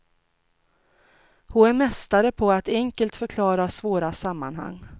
Hon är mästare på att enkelt förklara svåra sammanhang.